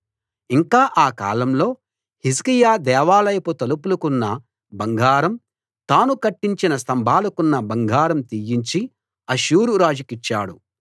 ఇంకా ఆ కాలంలో హిజ్కియా దేవాలయపు తలుపులకున్న బంగారం తాను కట్టించిన స్తంభాలకున్న బంగారం తీయించి అష్షూరు రాజుకిచ్చాడు